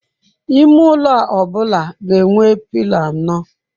Ime ụlọ ọ bụla ga enwe pilo anọ.